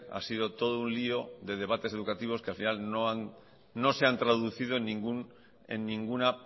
ha sido todo un lío de debates educativos que al final no se han traducido en ninguna